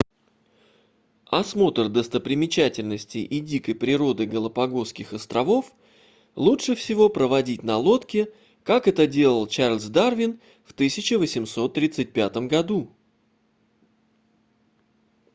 осмотр достопримечательностей и дикой природы галапагосских островов лучше всего проводить на лодке как это делал чарльз дарвин в 1835 году